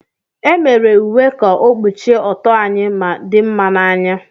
E mere uwe ka ọ kpuchie ọtọ anyị ma dinma n'anya.